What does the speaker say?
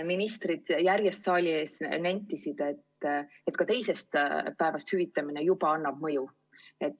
Ministrid järjest saali ees nentisid, et ka teisest päevast hüvitamine juba annab mõju.